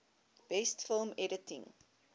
best film editing